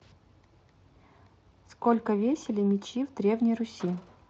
сколько весили мечи в древней руси